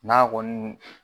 N'a kɔni